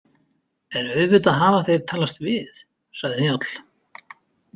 En auðvitað hafa þeir talast við, sagði Njáll.